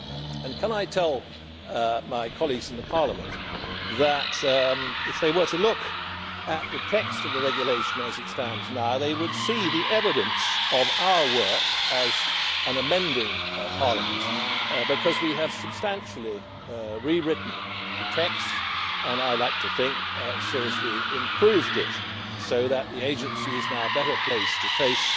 And can I tell my colleagues in Parliament that if they were to look at the text of the regulation as it stands now, they would see the evidence of our work as an amending Parliament, as we have substantially rewritten the text and I like to think seriously improved it so that the agency is now better placed to face